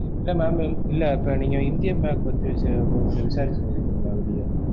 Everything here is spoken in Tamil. இல்ல mam இல்ல இப்ப நீங்க இந்தியன் பேங்க்க பத்தி கொஞ்சம் விசாரிச்சு இருந்திருகீன்களா வெளிய?